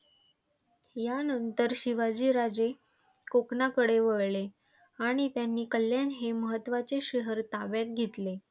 यानंतर शिवाजी राजे कोकणाकडे वळले आणि त्यांनी कल्याण हे महत्वाचे शहर ताब्यात घेतले.